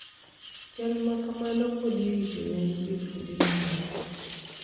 Chal makamano pod irito yangi e kuonde mamoko